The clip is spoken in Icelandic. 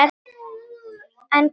En hver er konan?